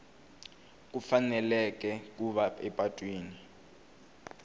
ku faneleka ku va epatwini